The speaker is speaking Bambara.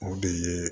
O de ye